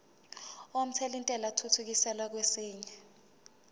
omthelintela athuthukiselwa kwesinye